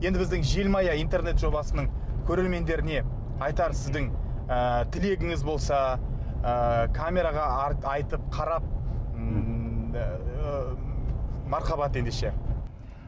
енді біздің желмая интернет жобасының көрермендеріне айтар сіздің ыыы тілегіңіз болса ыыы камераға айтып қарап мархабат ендеше